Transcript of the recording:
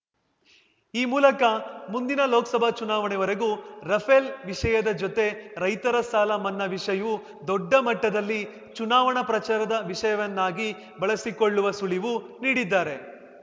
ಈ ಮೂಲಕ ಮುಂದಿನ ಲೋಕ್ಸಭಾ ಚುನಾವಣೆವರೆಗೂ ರಫೇಲ್‌ ವಿಷಯದ ಜೊತೆ ರೈತರ ಸಾಲ ಮನ್ನಾ ವಿಷಯೂ ದೊಡ್ಡ ಮಟ್ಟದಲ್ಲಿ ಚುನಾವಣಾ ಪ್ರಚಾರದ ವಿಷಯವನ್ನಾಗಿ ಬಳಸಿಕೊಳ್ಳುವ ಸುಳಿವು ನೀಡಿದ್ದಾರೆ